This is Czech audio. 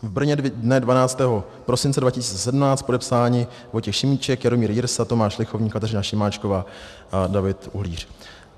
V Brně dne 12. prosince 2017, podepsáni Vojtěch Šimíček, Jaromír Jirsa, Tomáš Lichovník, Kateřina Šimáčková a David Uhlíř.